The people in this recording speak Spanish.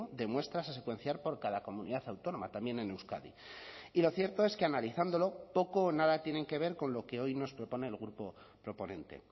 de muestras a secuenciar por cada comunidad autónoma también en euskadi y lo cierto es que analizándolo poco o nada tienen que ver con lo que hoy nos propone el grupo proponente